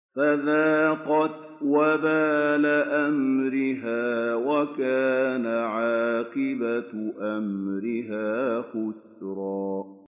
فَذَاقَتْ وَبَالَ أَمْرِهَا وَكَانَ عَاقِبَةُ أَمْرِهَا خُسْرًا